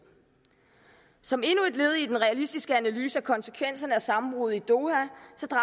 som endnu et led i den realistiske analyse af konsekvenserne af sammenbruddet i doha